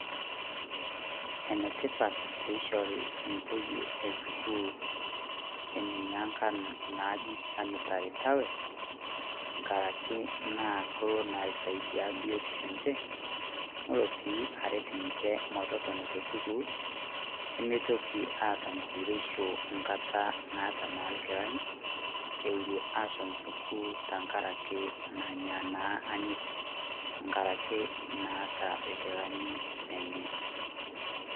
Ene tipat peishori entoyie esukuul inena angan naaji sanitary pads kake kelo naa aisaidia biotisho enche nelo sii aret ninche metotono tesukuul nemeitoki aata enkuretisho enkata naata naa irkilani eure aashom sukuul tengaraki naata irkilani lenye.